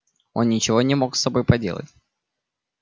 он ничего не мог с собой поделать